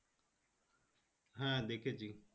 হ্যাঁ দেখেছি